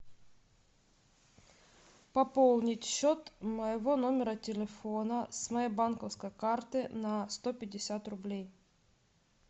пополнить счет моего номера телефона с моей банковской карты на сто пятьдесят рублей